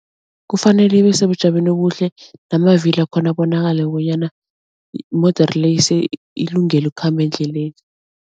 Kufanele ibesebujameni obuhle namavilo wakhona abonakale bonyana imodere le ilungele ukukhamba endleleni.